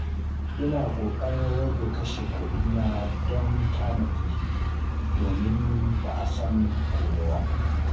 Ina ƙoƙarin rage kashe kuɗina don tanadi, domin ba a san gobe ba.